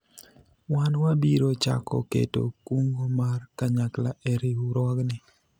wan wabiro chako keto kungo ma kanyakla e riwruogni